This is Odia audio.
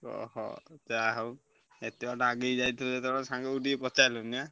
ଓହୋ ଯାହା ହଉ ଏତେ ବାଟ ଆଗେଇ ଯାଇଥିଲ ଯେତବେଳେ ସାଙ୍ଗକୁ ଟିକେ ପଚାରିଲନି ଆଁ?